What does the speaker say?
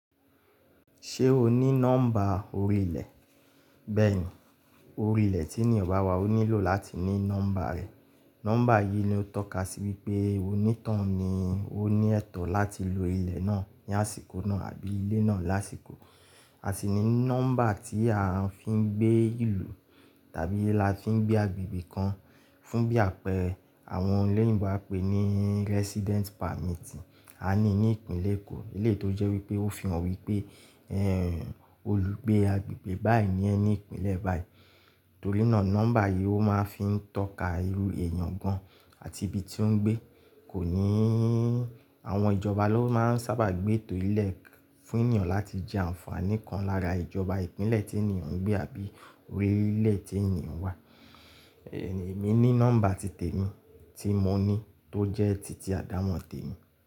Ṣé o ní nọ́mbà orí ilẹ̀? Bẹ́ẹ̀ni, orí ilẹ̀ tí ènìyàn bá wà ó nílò láti ní nọ́mbà rẹ̀. Nọ́mbà yìí ni ó tọ́ka sí wípé onítọ̀hún ni ó ní ẹ̀tọ́ láti lo ilẹ̀ náà ní àsìkò náà àbí ilé náà lásìkò. A sì ní nọ́mbà tí a fi ń gbé ìlú tàbí la fi ń gbé agbègbè kan fún bí àpẹẹrẹ àwọn olóyìnbó á pèé ní Resident Permit a ní ní ìpínlẹ̀ Èkó. Eléyìí tó jẹ́ wípé ó fi hàn wípé olùgbé agbègbè báyìí ní ẹ́ ni ìpínlẹ̀ báyìí. Torí náà nọ́mbà yìí ó máa ń fi ń tọ́ka irú èèyàn gan-an àti ibi tí ó ń gbé. Kò ní, àwọn ìjọba ló máa ń sábà gbé ètò yìí 'lẹ̀ fún'yàn láti jẹ àǹfààní kan lára ìjọba ìpínlẹ̀ tí ènìyàn ń gbé àbí orílẹ̀ tí ènìyàn wà. Èmi ní nọ́mbà ti tèmi tí mo ní tó jẹ́ titi àdámọ̀ tèmi.